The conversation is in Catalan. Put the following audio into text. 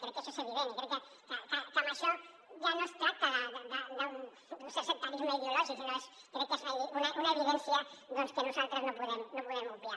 crec que això és evident i crec que amb això ja no es tracta d’un cert secta·risme ideològic sinó que crec que és una evidència doncs que nosaltres no podem obviar